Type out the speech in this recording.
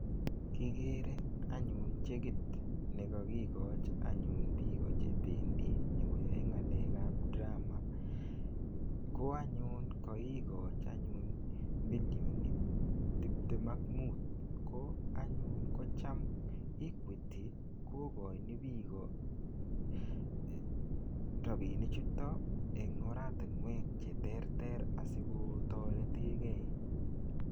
Kigere anyun chekit nekokikochi anyun biik chebendi nyokoyae ngalekab drama. Ko anyun kagigochi anyun milion tiptem ak mut. Ko anyun kocham Equity kokoini biik rapinichuto en oratinwek cheteter asikotoretegei.